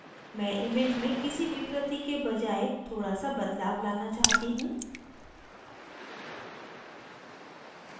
मैं image में किसी विकृति के बजाय थोड़ा सा बदलाव लाना चाहती हूँ